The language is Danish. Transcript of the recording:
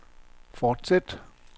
fortsæt